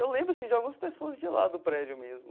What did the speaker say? Eu lembro assim de algumas pessoas de lá do prédio mesmo.